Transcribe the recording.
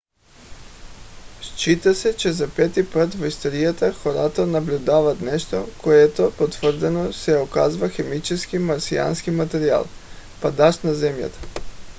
счита се че за пети път в историята хората наблюдават нещо което потвърдено се оказва химически марсиански материал падащ на земята